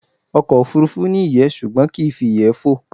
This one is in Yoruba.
Ọkọ̀ òfurufú ni iyé ṣùgbọ́n kii fi iyẹ́ fó